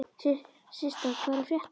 Systa, hvað er að frétta?